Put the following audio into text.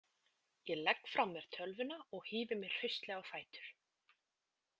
Ég legg frá mér tölvuna og hífi mig hraustlega á fætur.